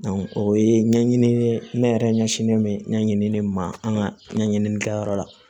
o ye ɲɛɲini ne yɛrɛ ɲɛsinnen bɛ ɲɛɲinini ma an ka ɲɛɲinini kɛyɔrɔ la